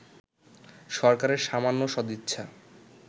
সরকারের সামান্য সদিচ্ছা